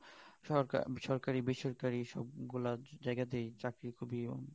সরকারি বেসরকারি সব গুলা যায়গাতেই চাকরি খুব ই